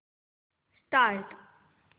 start